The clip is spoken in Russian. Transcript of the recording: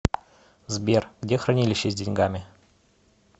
сбер где хранилище с деньгами